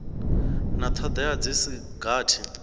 na thodea dzi si gathi